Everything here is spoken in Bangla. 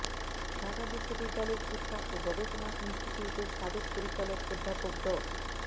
ঢাকা বিশ্ববিদ্যালয়ের শিক্ষা ও গবেষণা ইনস্টিটিউটের সাবেক পরিচালক অধ্যাপক ড